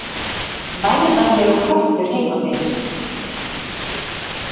Værðarlegur köttur heima fyrir.